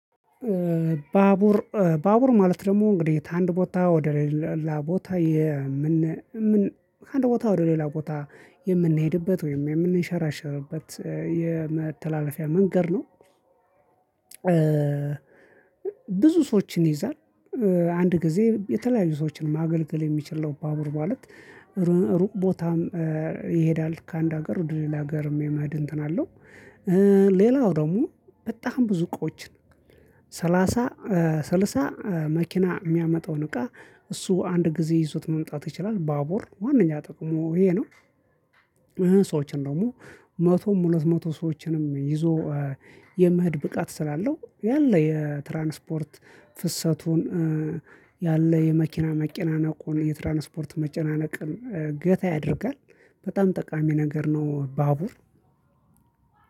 ባቡር ባቡር ማለት ደግሞ እንግዲህ ከአንድ ቦታ ወደ ሌላ ቦታ የምን ከአንድ ቦታ ወደ ሌላ ቦታ የምንሄድበት ወይም የምንሸራሸርበት የመተላለፊያ መንገድ ነው። ብዙ ሰዎችን ይይዛል አንድ ጊዜ የተለያዩ ሰዎችን ማገልገል የሚችል ነው። ባቡር ማለት ሩቅ ቦታም ይሄዳል ከአንድ ሀገር ወደ ሌላ ሀገር የመሄድ እንትን አለው። ሌላው ደግሞ በጣም ብዙ እቃችን ሰላሳ ስልሳ መኪና የሚያመጣውን እቃ እሱ አንድ ጊዜ ይዞት መምጣት ይችላል። ባቡር ዋናኛ ጥቅሙ ይሄ ነው። ሰዎችን ደግሞ መቶም ሁለት መቶ ሰዎችንም ይዞ የመሄድ ብቃት ስላለው ያለ የትራንስፖርት ፍሰቱን ያለ የመኪና መኪና ነው። እኮ የትራንስፖርት መጨናነቅን ገታ ያደርጋል በጣም ጠቃሚ ነገር ነው ባቡር።